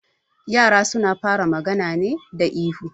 Yara suna fara magana ne da ihu